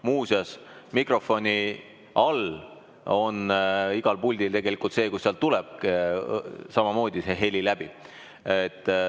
Muuseas, mikrofoni all on igal puldil tegelikult koht, kust samamoodi heli läbi tuleb.